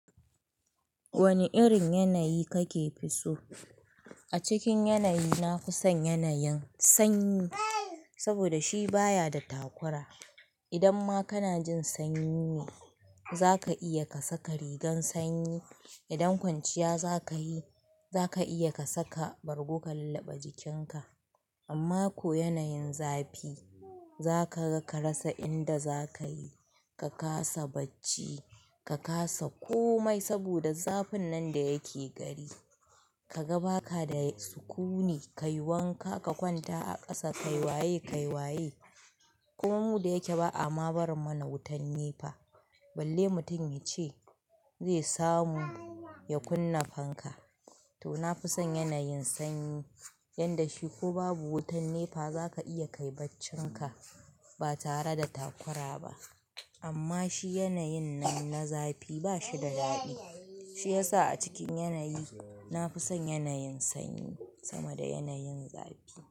Wane irin yanayi kake fi so? A cikin yanayi na fi son yanayin sanyi. Saboda shi baya da takura. Idan ma kana jin sanyi ne zaka iya ka saka rigan sanyi. Idan kwanciya za ka yi za ka iya ka saka bargo ka lullaɓa jikinka. Amma ko yanayin zafi za ka ga ka rasa inda za ka yi. Ka kasa bacci, ka kasa komai saboda zafin nan da yake gari. Ka ga baka da sukuni, kai wanka ka kwanta a ƙasa, kai waye, kai waye. Kuma mu da yake ba a ma barin mana wutan nefa. Balle mutum ya ce zai samu ya kunna fanka. To na fi son yanayin sanyi, yanda shi ko babu wutan nefa za ka iya kai baccin ka ba tare da takura ba. Amma shi yanayin nan na zafi ba shi da daɗi. Shi ya sa a cikin yanayi, na fi son yanayin sanyi sama da yanayin zafi.